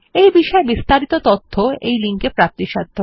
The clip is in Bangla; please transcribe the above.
এই বিষয় বিস্তারিত তথ্য এই লিঙ্ক এ প্রাপ্তিসাধ্য